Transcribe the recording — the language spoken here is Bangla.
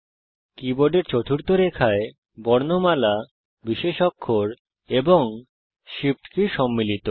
কীবোর্ডের চতুর্থ রেখায় বর্ণমালা বিশেষ অক্ষর এবং Shift কি সম্মিলিত